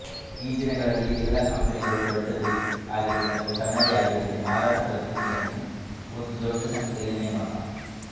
ಈ ದಿನಗಳಲ್ಲಿ ಎಲ್ಲಾ ಕಂಪನಿಗಳು ದೊಡ್ಡದೇ ಆಗಿರಲಿ ಅಥವಾ ಸಣ್ಣದೇ ಆಗಿರಲಿ ಮಾರಾಟ ಪ್ರತಿನಿಧಿಗಳನ್ನು ಒಂದು ದೊಡ್ಡ ಸಂಖ್ಯೆಯಲ್ಲಿ ನೇಮಕ